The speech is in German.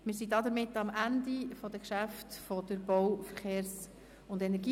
Wir befinden uns am Ende der Geschäfte der BVE.